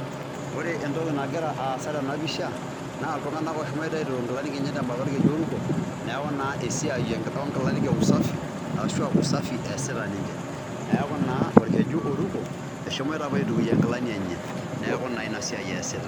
Ore entoki nagira aasa tena pisha, na iltung'anak oshomo aituk inkilani enye tembata orkeju oruko, neeku naa esiai onkilani e usafi ,ashu usafi eesita ninche. Neeku naa orkeju oruko, eshomoita apuo aitukuyie nkilani enye. Neeku na inasiai eesita.